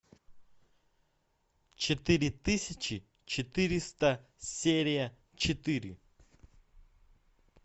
четыре тысячи четыреста серия четыре